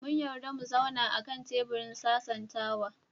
Mun yarda mu zauna a kan teburin sasantawa.